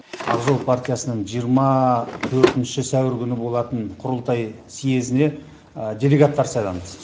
ақ жол партиясының жиырма төртінші сәуір күні болатын құрылтай съезіне делегаттар сайланды